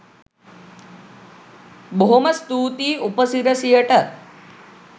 බොහොම ස්තුතියි උපසිරසියට